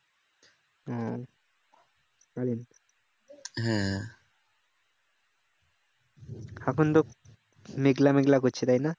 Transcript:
এখন তো মেঘলা মেঘলা করছে তাই না